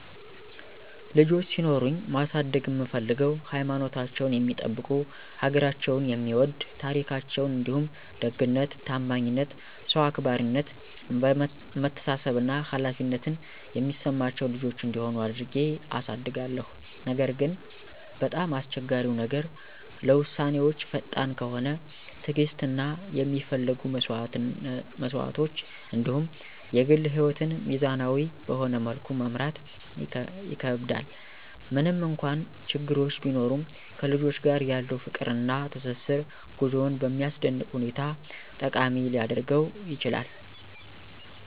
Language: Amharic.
ልጆች ሲኖሩኝ ማሳደግ እምፍልገው ሀይማኖታቸውን የሚጠብቁ፣ ሀገራቸውን የሚወድ፣ ታራካቸዉን እንዲሁም ደግነት፣ ታማኝነት፣ ሰዉ አክባራነት፣ መተሳሰብ እና ኃላፊነትን የሚሰማቸው ልጆች እንዲሆኑ አድርጌ አሳድጋለሁ። ነገር ግን፣ በጣም አስቸጋሪው ነገር ለዉሳነወች ፈጣን ከሆነ፣ ትዕግስት እና የሚፈለጉ መስዋዕቶች እንዲሁም የግል ህይወትን ሚዛናዊ በሆነ መልኩ መምራት ይከከብዳል። ምንም እንኳን ችግሮች ቢኖሩም ከልጆች ጋር ያለው ፍቅር እና ትስስር ጉዞውን በሚያስደንቅ ሁኔታ ጠቃሚ ሊያደርገውም ይችላል።